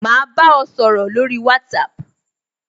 Ma ba ọ sọ̀rọ̀ lórí WhatsApp